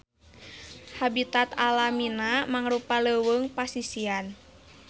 Habitat alamina mangrupa leuweung pasisian.